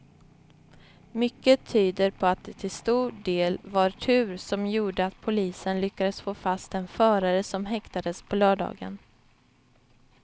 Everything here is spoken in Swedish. Mycket tyder på att det till stor del var tur som gjorde att polisen lyckades få fast den förare som häktades på lördagen.